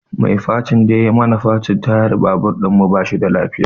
Mai facin da yai mana facin tayar babur ɗinmu ba shi da lafiya